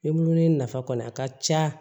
Bululen nafa kɔni a ka ca